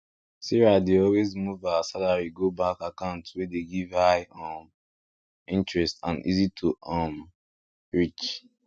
sarah dey always move her salary go bank account wey dey give high um interest and easy to um reach